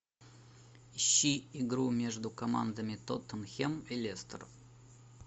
ищи игру между командами тоттенхэм и лестер